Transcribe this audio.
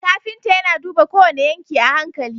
Kafinta yAna duba kowane yanki a hankali